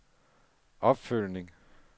opfølgning